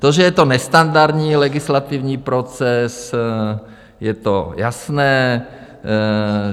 To, že je to nestandardní legislativní proces, to je jasné.